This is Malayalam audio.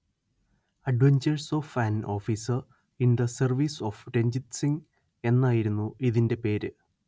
adventures of an officer in the service of Ranjit Singh എന്നായിരുന്നു ഇതിന്റെ പേര്